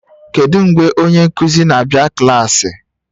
Kedu mgbe onye nkuzi na-abịa klaasị?